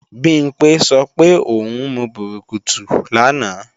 Bimpé sọ pé ò ń mu bùrùkùtù lánàá